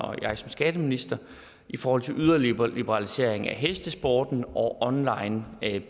og jeg som skatteminister i forhold til en yderligere liberalisering af hestesporten og online